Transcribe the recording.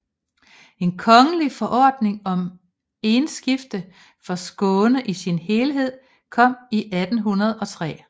En kongelig forordning om enskifte for Skåne i sin helhed kom i 1803